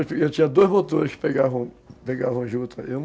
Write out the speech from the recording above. Eu tinha dois motores que pegavam pegavam de outra.